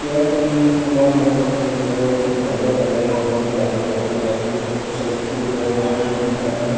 Chair का भी इतेमाल बहोत अच्छा किया गया है ऊपर में पर्दा डाला गया है कपड़ा डाला गया है लाइटिंग बहोत अच्छा ए. सी. भी लगा हुआ है बहोत ही प्यारा है।